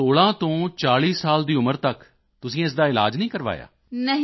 ਤਾਂ 16 ਸਾਲ ਤੋਂ 40 ਸਾਲ ਦੀ ਉਮਰ ਤੱਕ ਤੁਸੀਂ ਇਸ ਦਾ ਇਲਾਜ ਹੀ ਨਹੀਂ ਕਰਵਾਇਆ